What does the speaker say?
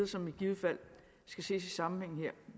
som i givet fald skal ses i sammenhængen her